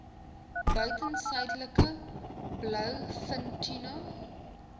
buiten suidelike blouvintuna